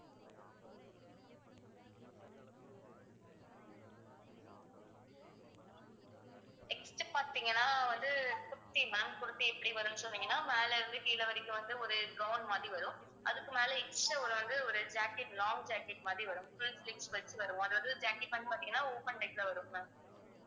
next பாத்தீங்கன்னா வந்து kurti ma'am kurti எப்படி வரும்ன்னு சொன்னீங்கன்னா மேலே இருந்து கீழே வரைக்கும் வந்து ஒரு gown மாதிரி வரும் அதுக்கு மேலே extra ஒரு வந்து ஒரு jacket long jacket மாதிரி வரும் full sleeves வச்சு வரும் அதாவது jacket வந்து பாத்தீங்கன்னா open type ல வரும் ma'am